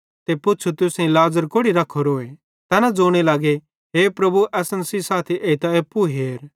ते पुच़्छ़ू तुसेईं लाज़र कोड़ि रख्खोरोए तैना ज़ोने लगे हे प्रभु असन सेइं साथी एइते एप्पू हेर